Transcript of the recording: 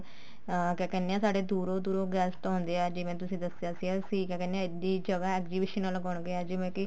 ਅਮ ਕਿਆ ਕਹਿਨੇ ਆ ਤੁਹਾਡੇ ਦੂਰੋਂ ਦੂਰੋਂ guest ਆਉਂਦੇ ਆ ਜਿਵੇਂ ਤੁਸੀਂ ਦੱਸਿਆ ਸੀ ਕਿਆ ਕਹਿਨੇ ਆ ਇੱਡੀ ਜਗ੍ਹਾ exhibition ਲਗਾਉਣ ਗਏ ਹਾਂ ਜਿਵੇਂ ਕੀ